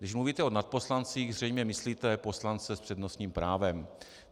Když mluvíte o nadposlancích, zřejmě myslíte poslance s přednostním právem.